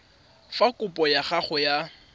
fa kopo ya gago ya